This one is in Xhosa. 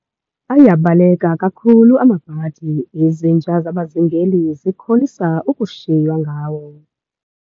Ayabaleka kakhulu amabhadi, izinja zabazingeli zikholisa ukushiywa ngawo.